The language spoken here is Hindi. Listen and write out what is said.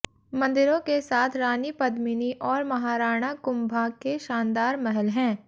मंदिरों के साथ रानी पद्मिनी और महाराणा कुम्भा के शानदार महल हैं